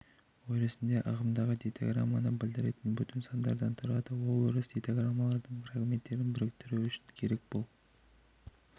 өрісінде ағымдағы дейтаграмманы білдіретін бүтін сандардан тұрады ол өріс дейтаграммалардың фрагменттерін біріктіру үшін керек бұл